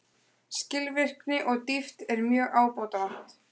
Skilvirkni og dýpt er mjög ábótavant